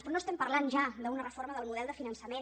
però no estem parlant ja d’una reforma del model de finançament